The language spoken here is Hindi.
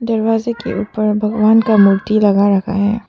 दरवाजे के ऊपर भगवान का मूर्ति लगा रखा है।